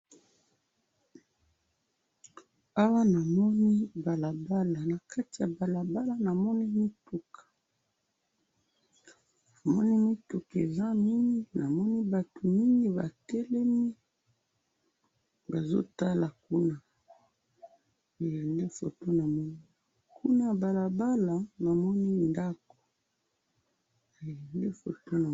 Awa namoni balabala, nakati ya balabala namoni mituka, namoni mituka eza mingi, namoni batu mingi batelemi, bazo tala kuna, nde foto namoni, kuna ya balabala namoni ndako, nde foto namoni.